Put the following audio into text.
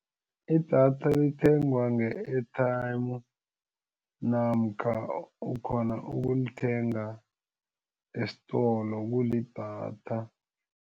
Idatha lithengwa nge-airtime namkha ukhona ukulithenga esitolo kulidatha.